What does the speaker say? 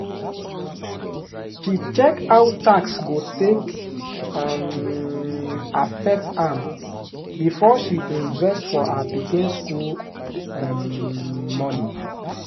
she check how tax go take um affect am before she invest for her pikin school um money.